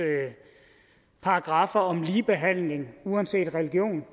paragraffer om ligebehandling uanset religion